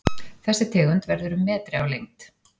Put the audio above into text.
Þessi tegund verður um metri á lengd.